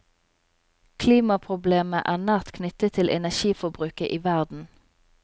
Klimaproblemet er nært knyttet til energiforbruket i verden.